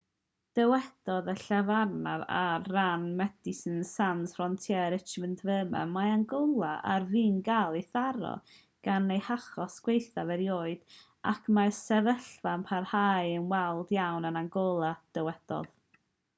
dywedodd y llefarydd ar ran medecines sans frontiere richard veerman mae angola ar fin cael ei tharo gan ei hachos gwaethaf erioed ac mae'r sefyllfa'n parhau yn wael iawn yn angola dywedodd